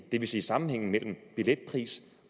det vil sige sammenhængen mellem billetpris